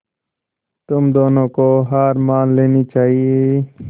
तुम दोनों को हार मान लेनी चाहियें